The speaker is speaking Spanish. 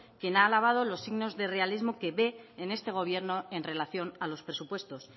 quien ha avalado los signos de realismo que ve en este gobierno en relación a los presupuestos